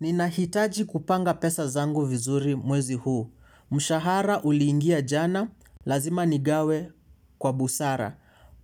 Ninahitaji kupanga pesa zangu vizuri mwezi huu. Mshahara uliingia jana, lazima nigawe, kwa busara.